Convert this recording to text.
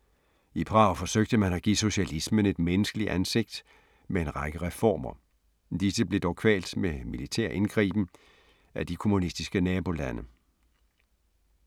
I Prag forsøgte man at give socialismen et menneskelig ansigt med en række reformer. Disse blev dog kvalt med militær indgriben af de kommunistiske nabolande.